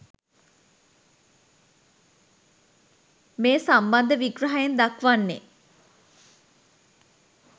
මේ සම්බන්ධ විග්‍රහයෙන් දක්වන්නේ